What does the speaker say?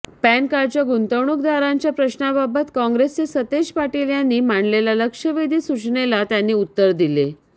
पॅनकार्डच्या गुंतवणूकदारांच्या प्रश्नाबाबत काँग्रेसचे सतेज पाटील यांनी मांडलेल्या लक्षवेधी सूचनेला त्यांनी उत्तर दिले